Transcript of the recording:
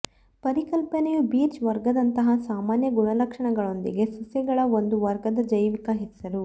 ಪರಿಕಲ್ಪನೆಯು ಬಿರ್ಚ್ ವರ್ಗದಂತಹ ಸಾಮಾನ್ಯ ಗುಣಲಕ್ಷಣಗಳೊಂದಿಗೆ ಸಸ್ಯಗಳ ಒಂದು ವರ್ಗದ ಜೈವಿಕ ಹೆಸರು